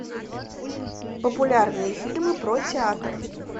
популярные фильмы про театр